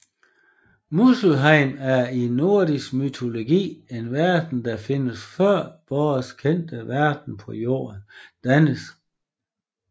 Muspelheim er i nordisk mytologi en verden der findes før vores kendte verden på jorden dannes